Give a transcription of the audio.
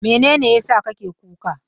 Mene ne ya sa kake kuka?